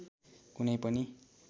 कुनै पनि